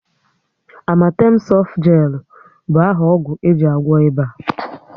Amatem softgelu bụ áhà ọgwụ eji agwọ ịba